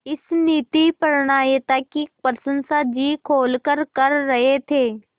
इस नीतिपरायणता की प्रशंसा जी खोलकर कर रहे थे